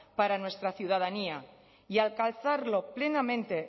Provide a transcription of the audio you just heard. para nuestra ciudadanía y alcanzarlo plenamente